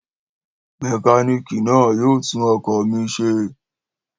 Mẹkánìkì náà yóò tún ọkọ̀ mi ṣe